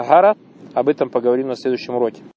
гора об этом поговорим на следующем уроке